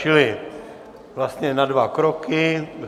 Čili vlastně na dva kroky.